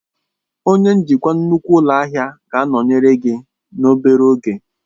Onye njikwa nnukwu ụlọ ahịa ga-anọnyere gị n'obere oge.